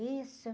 Isso.